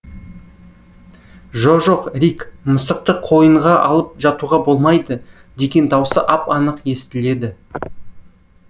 жо жоқ рик мысықты қойынға алып жатуға болмайды деген даусы ап анық естіледі